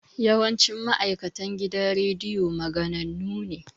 Yawancin ma'aikatan gidan rediyo maganannu ne